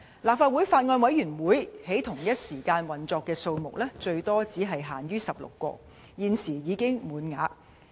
立法會法案委員會在同一時間運作的數目最多只限16個，而現時已滿額。